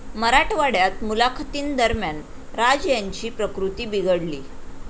मराठवाड्यात मुलाखतींदरम्यान राज यांची प्रकृती बिघडली